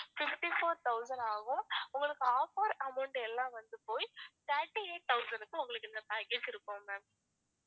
fifty-four thousand ஆகும் உங்களுக்கு offer amount எல்லாம் வந்து போயி thirty-eight thousand க்கு உங்களுக்கு இந்த package இருக்கும் ma'am